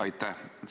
Aitäh!